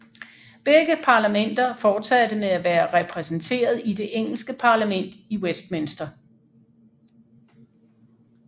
Begge parlamenter fortsatte med at være repræsenteret i det engelske parlament i Westminster